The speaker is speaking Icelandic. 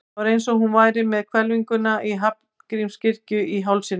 Það var eins og hún væri með hvelfinguna í Hallgrímskirkju í hálsinum.